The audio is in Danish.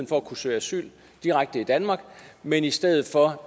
for at kunne søge asyl direkte i danmark men i stedet for